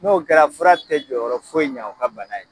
N'o kɛra fura tɛ jɔyɔrɔ foyi ɲɛ o ka bana ye